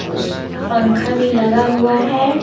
उस पंखा भी लगा हुआ है।